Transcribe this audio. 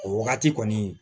O wagati kɔni